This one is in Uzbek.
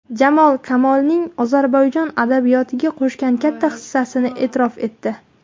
Jamol Kamolning Ozarbayjon adabiyotiga qo‘shgan katta hissasini e’tirof etdi.